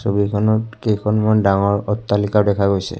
ছবিখনত কেইখনমান ডাঙৰ অট্টালিকা দেখা গৈছে।